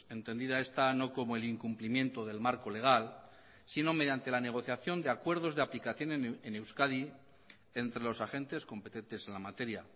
entendida esta no como el incumplimiento del marco legal sino mediante la negociación de acuerdos de aplicación en euskadi entre los agentes competentes en la materia